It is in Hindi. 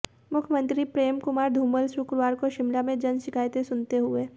मुख्यमंत्री प्रेमकुमार धूमल शुक्रवार को शिमला में जन शिकायतें सुनते हुए